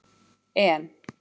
En